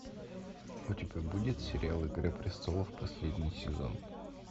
у тебя будет сериал игра престолов последний сезон